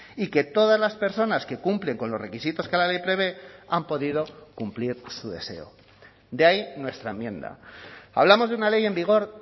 y que todas las personas que cumplen con los requisitos que la ley prevé han podido cumplir su deseo de ahí nuestra enmienda hablamos de una ley en vigor